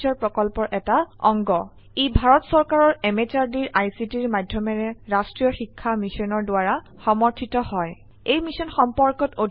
ই ভাৰত চৰকাৰৰ MHRDৰ ICTৰ মাধয়মেৰে ৰাস্ত্ৰীয় শিক্ষা মিছনৰ দ্ৱাৰা সমৰ্থিত হয় এই মিশ্যন সম্পৰ্কত অধিক তথ্য spoken hyphen tutorial dot org slash এনএমইআইচিত হাইফেন ইন্ট্ৰ ৱেবচাইটত পোৱা যাব